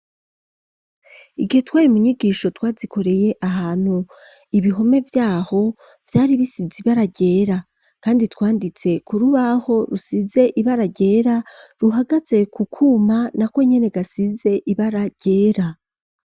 Igihe twari mu nyigisho twazikoreye ahantu ibihome vyaho byari bisize ibaragera kandi twanditse ku rubaho rusize ibaragera ruhagatse ku kuma na ko nene gasize ibara ryera.